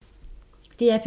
DR P2